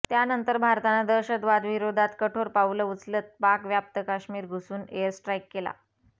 त्यानंतर भारतानं दहशतवादाविरोधात कठोर पावलं उचलत पाक व्याप्त काश्मीर घुसून एअर स्ट्राईक केला